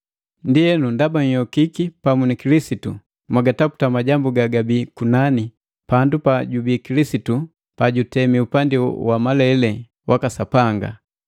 Ndienu ndaba nhyokiki pamu ni Kilisitu, mwagataputa majambu gagabii kunani, pandu pajubii Kilisitu pajutemi upandi wa malele waka Sapanga.